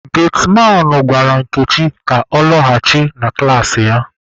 Getiman gwara Nkechi ka ọ laghachi na klaasị ya.